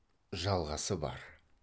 жалғасы бар